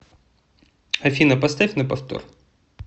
афина поставь на повтор